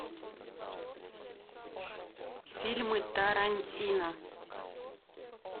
фильмы тарантино